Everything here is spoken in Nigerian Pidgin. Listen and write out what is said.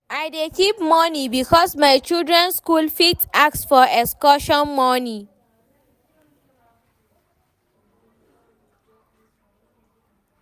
I dey keep moni because my children skool fit ask for excursion moni.